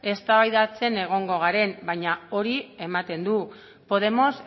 eztabaidatzen egongo garen baina hori ematen du podemos